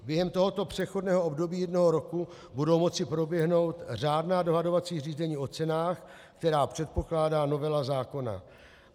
Během tohoto přechodného období jednoho roku budou moci proběhnout řádná dohodovací řízení o cenách, která předpokládá novela zákona.